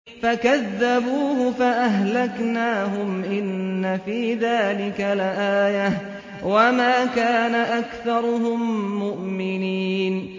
فَكَذَّبُوهُ فَأَهْلَكْنَاهُمْ ۗ إِنَّ فِي ذَٰلِكَ لَآيَةً ۖ وَمَا كَانَ أَكْثَرُهُم مُّؤْمِنِينَ